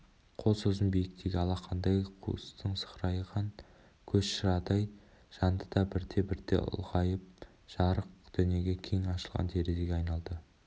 қол созым биіктегі алақандай қуыстың сығырайған көз шырадай жанды да бірте-бірте ұлғайып жарық дүниеге кең ашылған терезеге айналды